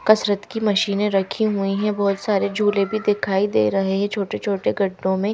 कसरत की मशीनें रखी हुई है बहोत सारे झूले भी दिखाई दे रहे है ये छोटे छोटे गट्टों में--